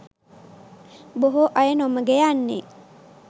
බොහෝ අය නොමඟ යන්නේ